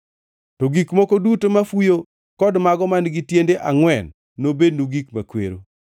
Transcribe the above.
To gik moko duto mafuyo kod mago man-gi tiende angʼwen, nobednu gik makwero.